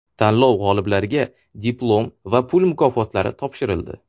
Tanlov g‘oliblariga diplom va pul mukofotlari topshirildi.